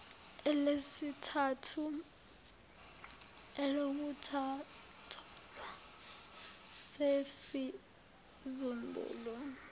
elesithathu elokutholwa nesizumbulu